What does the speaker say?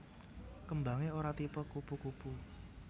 Kembangé ora tipe kupu kupu